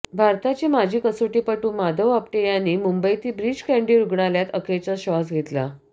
भारताचे माजी कसोटीपटू माधव आपटे यांनी मुंबईतील ब्रीच कँडी रुग्णालयात अखेरचा श्वास घेतला